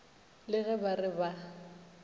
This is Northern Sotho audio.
le ge ba re ba